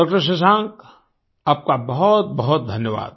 डॉ० शशांक आपका बहुत बहुत धन्यवाद